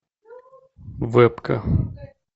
вебка